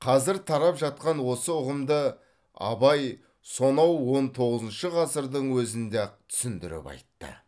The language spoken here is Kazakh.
қазір тарап жатқан осы ұғымды абай сонау он тоғызыншы ғасырдың өзінде ақ түсіндіріп айтты